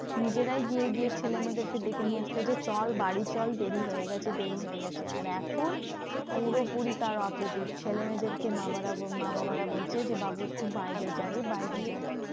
নিজেরাই গিয়ে গিয়ে ছেলেমেয়েদেরকে ডেকে নিয়ে আসতো যে, চল বাড়ি চল দেরি হয়ে গেছে দেরি হয়ে গেছে। আর এখন পুরোপুরি তার opposite ছেলেমেয়েদেরকে মা বাবারা বলছে যে বাবু একটু বাইরে যা রে বাইরে যা রে।